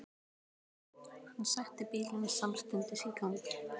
Hann setti bílinn samstundis í gang.